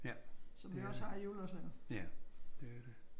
Ja. Det er det. Ja det er det